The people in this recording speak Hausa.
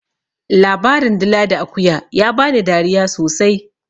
Labarin dila da akuya ya bani dariya sosai.